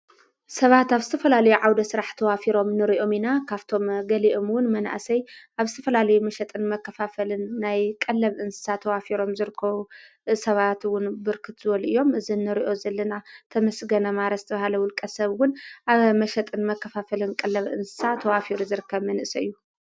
ሰባት ኣብ ስተፈላለ ዓውደ ሥራሕ ተዋፊሮም ንርኦሚና ካብቶም ገሊኦምውን መናእሰይ ኣብ ስፈላለ መሸጥን መከፋፈልን ናይ ቐለብ እንሳ ተዋፊሮም ዝርኮ ሰባትውን ብርክትዝወልእዮም እዝ ንርኦ ዘለና ተመስገነ ማረስቲ በሃለ ውልቀ ሰብውን ኣብ መሸጥን መከፋፈልን ቀለብ እንሳ ተዋፊሩ ዘርከ መንእሰይ እዩ።